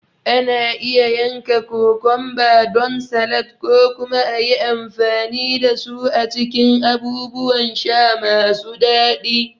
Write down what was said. Ana iya yanka kokumba don salad ko kuma a yi amfani da su a cikin abubuwan sha masu daɗi.